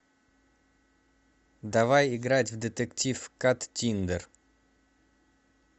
давай играть в детектив каттиндер